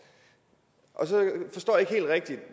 så